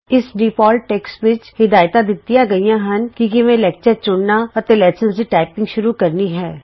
ਇਸ default text ਵਿੱਚ ਹਿਦਾਇਤਾਂ ਦਿੱਤੀਆਂ ਗਈਆਂ ਹਨ ਕਿ ਕਿਵੇਂ ਲੈਕਚਰ ਚੁਣਨਾ ਅਤੇ ਲੈਸਨਜ਼ ਦੀ ਟਾਈਪਿੰਗ ਸ਼ੁਰੂ ਕਰਨੀ ਹੈ